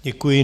Děkuji.